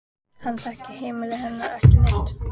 Hann þekkir heimili hennar ekki neitt.